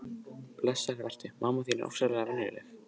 Blessaður vertu, mamma þín er ofsalega venjuleg.